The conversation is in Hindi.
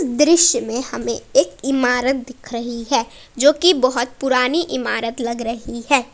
दृश्य में हमें एक इमारत दिख रही है जो कि बहुत पुरानी इमारत लग रही है।